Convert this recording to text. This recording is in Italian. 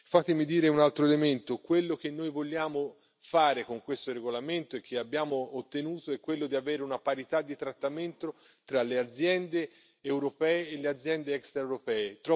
Fatemi dire un altro elemento, quello che noi vogliamo fare con questo regolamento e che abbiamo ottenuto, è quello di avere una parità di trattamento tra le aziende europee e le aziende extraeuropee.